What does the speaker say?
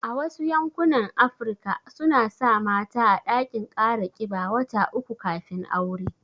A Wasu yankunan Afirka suna sa mata a ɗakin kara kiba wata uku kafin aure